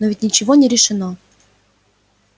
но ведь ничего не решено